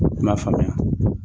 N m'a faamuya.